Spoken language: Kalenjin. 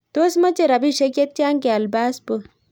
Tos Mechee rapisiek chetyaa keal passport